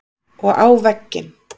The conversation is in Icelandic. Og á vegginn.